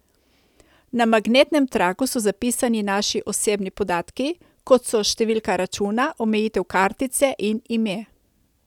Na magnetnem traku so zapisani naši osebni podatki, kot so številka računa, omejitev kartice in ime.